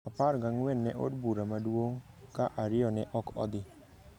apar gang'wen ne bura maduong’ ka ariyo ne ok odhi.